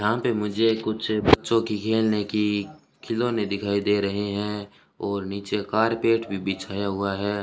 यहां पे मुझे कुछ बच्चों की खेलने की खिलौने दिखाई दे रहे हैं और नीचे कारपेट भी बिछाया हुआ है।